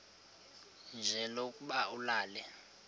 nje lokuba ulale